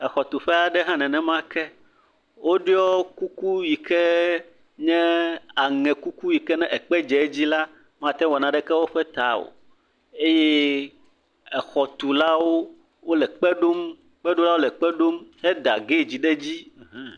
Exɔ tu ƒe hã nenema ke. Wo ɖoe kuku yike nye aŋɛ kuku yike nye ekpe dZe edzi la, mateŋu awɔ naneke eƒe ta o eye exɔ tulawo le ekpe ɖom. Kpe ɖo lawo le kpe ɖom. Eda gate ɖe edzi.